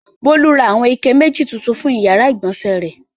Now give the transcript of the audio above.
Bólú ra àwọn ike méjì tuntun fún ìyàrá-ìgbọ̀nsẹ̀ rẹ̀.